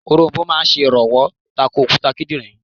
Òronbó máa sè rànwọ́ tako òkúta kídìnrín